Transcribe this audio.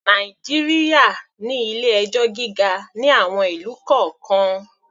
Nàìjíríà ní ilé-ẹjọ́ gíga ní àwon ìlú kọ̀ọ́kan.